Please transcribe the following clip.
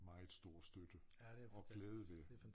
Meget stor støtte og glæde ved